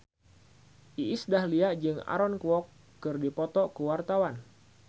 Iis Dahlia jeung Aaron Kwok keur dipoto ku wartawan